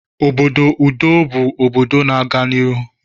Obodo udo bụ obodo na-aga n'ihu